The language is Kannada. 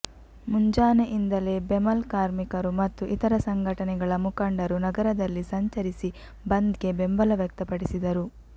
ಮುಂಜಾನೆಯಿಂದಲೇ ಬೆಮಲ್ ಕಾರ್ಮಿಕರು ಮತ್ತು ಇತರ ಸಂಘಟನೆಗಳ ಮುಖಂಡರು ನಗರದಲ್ಲಿ ಸಂಚರಿಸಿ ಬಂದ್ಗೆ ಬೆಂಬಲ ವ್ಯಕ್ತಪಡಿಸಿದರು